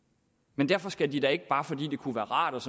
men derfor skal de da ikke bare fordi det kunne være rart